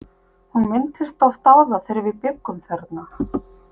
Hún minntist oft á það þegar við bjuggum þarna.